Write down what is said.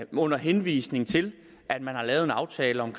under henvisning til at man har lavet en aftale om